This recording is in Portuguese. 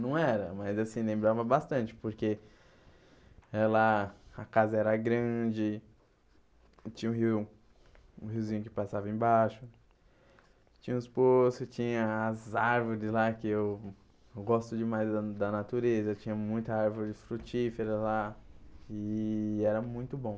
Não era, mas assim, lembrava bastante, porque eh lá a casa era grande, tinha um rio um riozinho que passava embaixo, tinha uns poços, tinha as árvores lá, que eu gosto demais da da natureza, tinha muita árvore frutífera lá, e era muito bom.